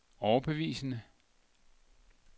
overbevisende